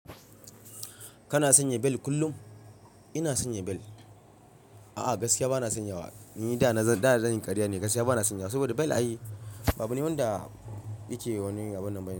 Kana sanya bel kullum? Ina sanya bel. A'a, gaskiya bana sanyawa. Ni da na zan yi karya ne. Gaskiya bana sanyawa saboda bel a yi abune wanda yake wani abin ban bail.